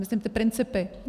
Myslím ty principy.